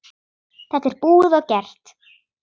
Þetta er búið og gert.